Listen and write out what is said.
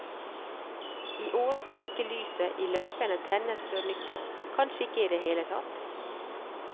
I år skal ikke lyset i løypene tennes før nyttår, kanskje ikke i det hele tatt.